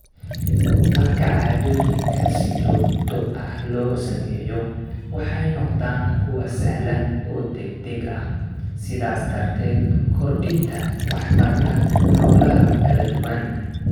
Marka caadooyinka si joogto ah loo sameeyo, waxay noqdaan kuwo sahlan oo degdeg ah, sidaas darteed kordhinta waxtarka hawlaha kala duwan.